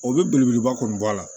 O bɛ belebeleba kɔni bɔ a la